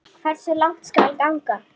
Hversu langt skal ganga?